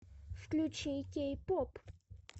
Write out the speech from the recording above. включи кей поп